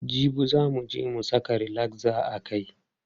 Jibi za muje mu saka relaxer a kai.